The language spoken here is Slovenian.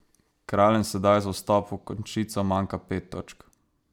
Kraljem sedaj za vstop v končnico manjka pet točk.